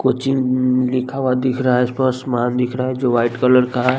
Coaching इनंनं लिखा हुआ दिख रहा है इस पर आसमान दिख रहा है जो वाइट कलर का है।